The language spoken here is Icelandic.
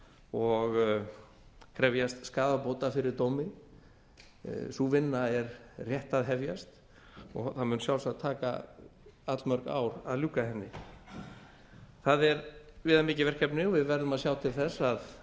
og krefjast skaðabóta fyrir dómi sú vinna er rétt að hefjast og það mun sjálfsagt taka allmörg ár að ljúka henni það er viðamikið verkefni og við verðum að sjá til þess að